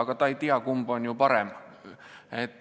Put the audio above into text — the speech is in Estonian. Aga ta ei tea, kumb kool on parem.